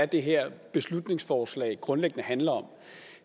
det her beslutningsforslag grundlæggende handler om